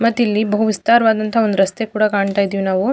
ಮತ್ತ ಇಲ್ಲಿ ಬಹು ವಿಸ್ತಾರವಾದಂತಹ ಒಂದು ರಸ್ತೆಯು ಕೂಡ ಕಾಣತ್ತಿದೀವಿ ನಾವು.